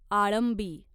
आळंबी